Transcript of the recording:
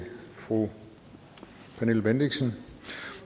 fru pernille bendixen